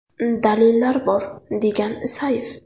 Dalillar bor”, degan Isayev.